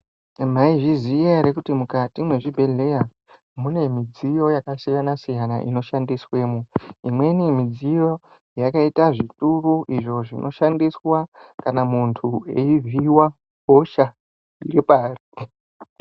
Maizviziya ere kuti mukati mezvibhehleya mune mizviyo yakasiyana siyana inoshandisweno imweni midziyo yakaita zvitumbu izvo zvinoshandiswa kana muntu eivhiiwa hosha ngebarike.